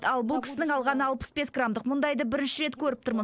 ал бұл кісінің алғаны алпыс бес граммдық алған мұндайды бірінші рет көріп тұрмын